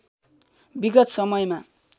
विगत समयमा